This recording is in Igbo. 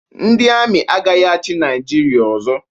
Ndi Amị agaghị-achi naijiria ọzo.